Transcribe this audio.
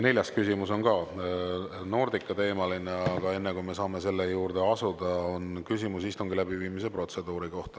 Neljas küsimus on ka Nordica-teemaline, aga enne, kui me saame selle juurde asuda, on küsimus istungi läbiviimise protseduuri kohta.